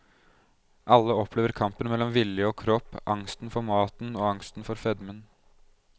Alle opplever kampen mellom vilje og kropp, angsten for maten og angsten for fedmen.